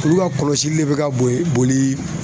Olu ka kɔlɔsili le bɛ ka bo boli